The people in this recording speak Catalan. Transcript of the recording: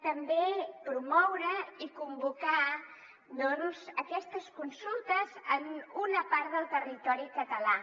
també promoure i convocar aquestes consultes en una part del territori català